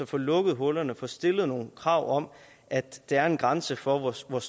få lukket hullerne og få stillet nogle krav om at der er en grænse for hvor stor